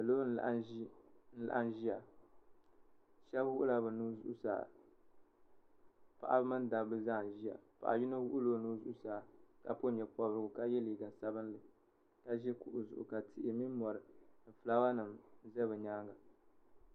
Salo n laɣim ziya shɛba wuɣi la bi nuhi zuɣusaa paɣaba mini dabba zaa n ziya yino wuɣila o nuu zuɣusaa ka pɔbi yee pɔbirigu ka ye liiga sabinli ka zi kuɣu zuɣu ka tihi mini mori ni flawa nima za bi yɛanga.